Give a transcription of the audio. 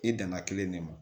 I danna kelen ne ma